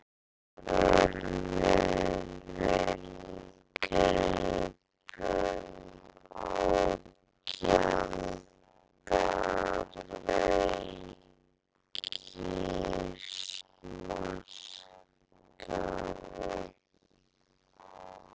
Varar við inngripum á gjaldeyrismarkaði